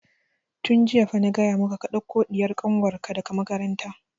Tun jiya fa na gaya maka ka ɗauko ɗiyar kanwar ka daga makaranta!